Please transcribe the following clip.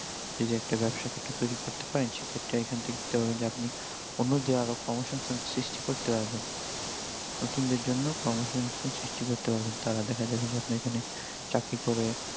যদি একটা বাবসা ক্ষেত্র তৈরি করতে পারেন সে ক্ষেত্রে এখান থেকে ধরুন যে আপনি অন্যদের আরও কর্ম সংস্থান সৃষ্টি করতে পারবেন, নতুন দের জন্য কর্ম সংস্থান সৃষ্টি করতে পারবেন, তারা দ্যাখা যাবে যে আপনার এখানে চাকরি করে